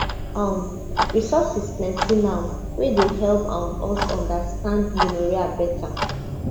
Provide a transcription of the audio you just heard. um resources plenty now wey go help um us understand gonorrhea better